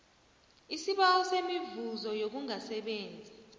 isibawo semivuzo yokungasebenzi